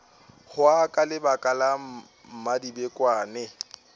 hwa ka lebaka la mmadibekwane